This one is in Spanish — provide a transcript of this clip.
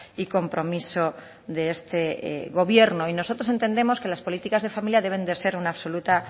y compromiso de este gobierno y nosotros entendemos que las políticas de familia deben de ser una absoluta